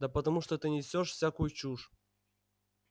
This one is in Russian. да потому что ты несёшь всякую чушь